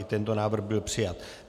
I tento návrh byl přijat.